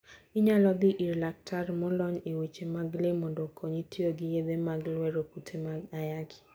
Inyalo dhi ir laktar molony e weche mag le mondo okonyi tiyo gi yedhe mag lwero kute mag ayaki.